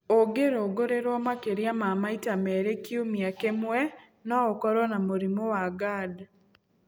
Ũngĩrũngũrĩrwo makĩria ma maita merĩ kiumua kĩmwe no ũkorwo na mũrimũ wa Gerd.